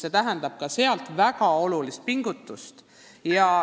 See tähendab ju asjaosalistele väga suurt pingutust.